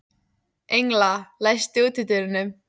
Engla, læstu útidyrunum.